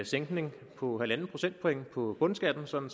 sænkning på halvanden procentpoint på bundskatten sådan